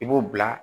I b'o bila